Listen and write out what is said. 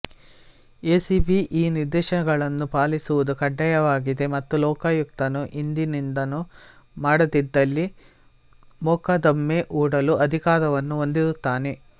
ACB ಈ ನಿರ್ದೇಶನಗಳನ್ನು ಪಾಲಿಸುವುದು ಕಡ್ಡಾಯವಾಗಿದೆ ಮತ್ತು ಲೋಕಾಯುಕ್ತನು ಹಿಂದಿನದನ್ನು ಮಾಡದಿದ್ದಲ್ಲಿ ಮೊಕದ್ದಮೆ ಹೂಡಲು ಅಧಿಕಾರವನ್ನು ಹೊಂದಿರುತ್ತಾನೆ